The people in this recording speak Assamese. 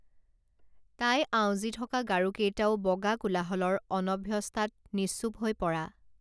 তাই আঁউজি থকা গাৰুকেইটাও বগা কোলাহলৰ অনভ্যস্তাত নিশ্চুপ হৈ পৰা